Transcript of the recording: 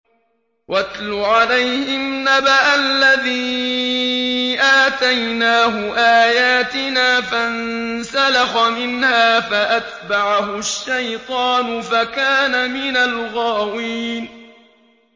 وَاتْلُ عَلَيْهِمْ نَبَأَ الَّذِي آتَيْنَاهُ آيَاتِنَا فَانسَلَخَ مِنْهَا فَأَتْبَعَهُ الشَّيْطَانُ فَكَانَ مِنَ الْغَاوِينَ